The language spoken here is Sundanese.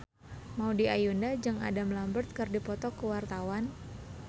Maudy Ayunda jeung Adam Lambert keur dipoto ku wartawan